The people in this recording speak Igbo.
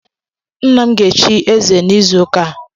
Nna m ga echi eze n'izu ụka a